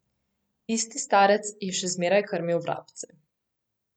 Isti starec je še zmeraj krmil vrabce.